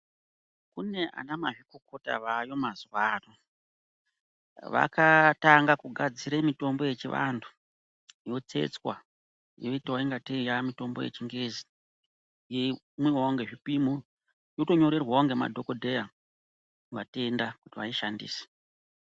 Kuna anamazvikokota aayo mazuwa ano. Vakatanga kugadzire mitombo yechivantu ,yotsetswa ,yoitawo ingatei yaamitombo yechingezi, yeimwiwawo ngezvipimo. Unotonyorerwawo ngemadhokodheya, matenda kuti vaishandise.